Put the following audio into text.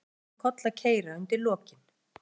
Það ætlaði svo allt um koll að keyra undir lokin.